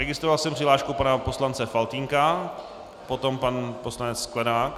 Registroval jsem přihlášku pana poslance Faltýnka, potom pan poslanec Sklenák.